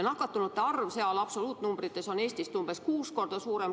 Nakatunute arv on seal absoluutnumbrites Eesti omast umbes kuus korda suurem.